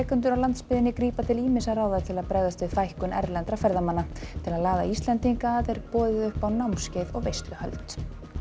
á landsbyggðinni grípa til ýmissa ráða til að bregðast við fækkun erlendra ferðamanna til að laða að Íslendinga er boðið upp á námskeið og veisluhöld